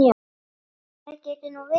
Ætli það geti nú verið.